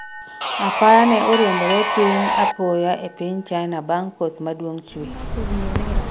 apaya ne orwombore piny apoya e piny China bang' kuoth maduong' chwe